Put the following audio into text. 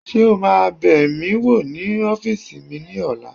Ṣé o máa bẹ̀ mí wò ní ọ́fìsì mi ní ọ̀la?